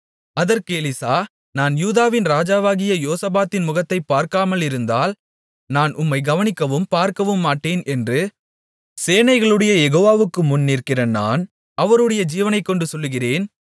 அதற்கு எலிசா நான் யூதாவின் ராஜாவாகிய யோசபாத்தின் முகத்தைப் பார்க்காமலிருந்தால் நான் உம்மைக் கவனிக்கவும் பார்க்கவுமாட்டேன் என்று சேனைகளுடைய யெகோவாவுக்கு முன் நிற்கிற நான் அவருடைய ஜீவனைக்கொண்டு சொல்லுகிறேன்